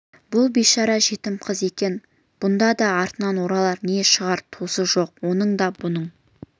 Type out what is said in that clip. бұл бишара жетім қыз екен бұнда да артына оралар не шығар туыс жоқ оның да бұның